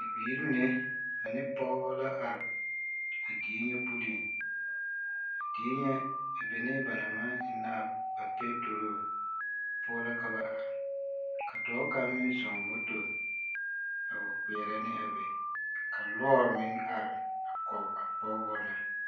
Bibiiri mine ane pɔgebɔ la are a die nyɛ puliŋ, a die nyɛ a benɛɛ ba naŋ maŋ ennaa a petoroo poɔ la ka ba are ka dɔɔ kaŋ meŋ zɔŋ moto a wa kpeɛrɛ ne a be ka lɔɔre meŋ are a kɔge a pɔgebɔ na.